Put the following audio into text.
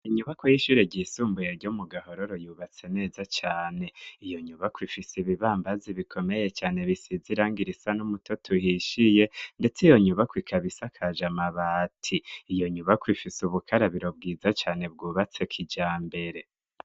Inyubako y'ishure ryisumbuye ryo mu gahororo yubatse neza cane iyo nyubako ifise ibibambazi bikomeye cane bisaiziranga irisa n'umutoto uhishiye, ndetse iyo nyubako ikabisa akaja amaba ati iyo nyubako ifise ubukarabiro bwiza cane bwubatse k ija mbere.